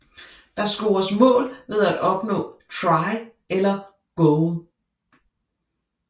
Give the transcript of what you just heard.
Der scores mål ved at opnå Try eller Goal